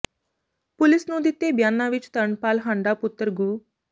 police ਨੂੰ ਦਿੱਤੇ ਬਿਆਨਾਂ ਵਿਚ ਤਰਨਪਾਲ ਹਾਂਡਾ ਪੁੱਤਰ ਗੁ